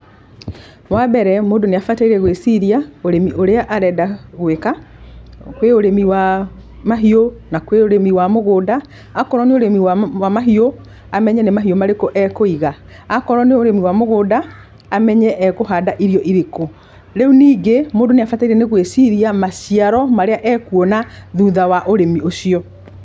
Wa mbere, mũndũ nĩ abataire gwĩciria ũrĩmi ũrĩa arenda gwĩka. Kwĩ ũrĩmi wa mahiũ na kwĩ ũrĩmi wa mũgũnda. Akorwo nĩ ũrĩmi wa mahiũ amenye ni mahiũ marĩkũ akũiga, akorwo nĩ ũrĩmi wa mũgũnda amenye ekũhanda irio irĩkũ. Rĩu ningĩ mũndũ nĩ abataire gwĩciria maciaro marĩa ekuona thutha wa ũrĩmi ũcio.